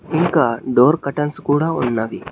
ఇంకా door curtains కూడా ఉన్నవి.